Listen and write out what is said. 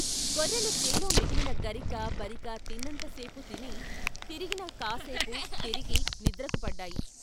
గొర్రెలు చేలో మిగిలిన గరికా బరికా తిన్నంత సేపు తిని తిరిగిన కాసేపు తిరిగి నిద్రకు పడ్డాయి.